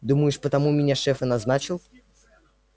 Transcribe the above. думаешь потому меня шеф и назначил